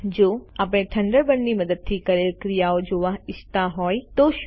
જો આપણે થન્ડરબર્ડની મદદથી કરેલ ક્રિયાઓ જોવા ઈચ્છતા હોય તો શું